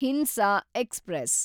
ಹಿಂಸಾ ಎಕ್ಸ್‌ಪ್ರೆಸ್